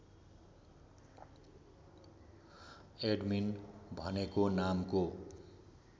admin भनेको नामको